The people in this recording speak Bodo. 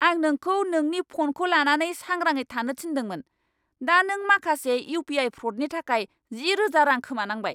आं नोंखौ नोंनि फ'नखौ लानानै सांग्राङै थानो थिन्दोंमोन। दा नों माखासे इउ.पि.आइ. फ्र'डनि थाखाय जिरोजा रां खोमानांबाय!